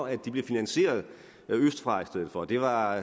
at de blev finansieret østfra i stedet for det var